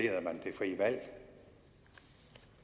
frie valg